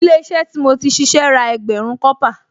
Ilé-iṣẹ́ tí mo ti ṣíṣe ra ẹgbẹ̀rún kọ́pà